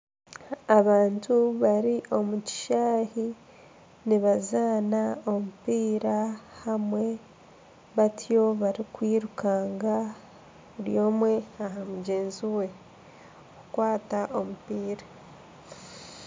Abantu bari omu kishaayi nibazaana omupiira hamwe batyo barikwirukanga buri omwe aha mugyenzi we kukwata omupiira.